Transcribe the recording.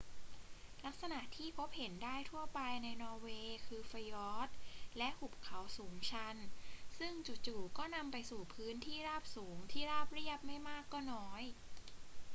ลักษณะที่พบเห็นได้ทั่วไปในนอร์เวย์คือฟยอร์ดและหุบเขาสูงชันซึ่งจู่ ๆ ก็นำไปสู่พื้นที่ราบสูงที่ราบเรียบไม่มากก็น้อย